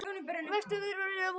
Víst á báðum eruð þið.